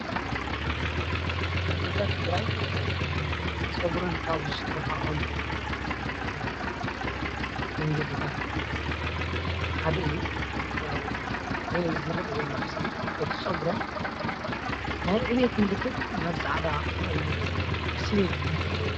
ኣዴታት ትግራይ ፀጉረን ካብ ዝስረሓኦም መንገድታት ሓደ እዩ፡፡ ያው ዝረአ ዘሎ ምስሊ እቲ ፀጉረን ናይ ዕብየት ምልክት ናብ ፃዕዳ ተቐይሩ ወይ ከዓ ስይበት ከም ዘሎ ይረአ፡፡